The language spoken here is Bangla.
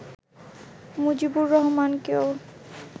মুজিবুর রহমানকেও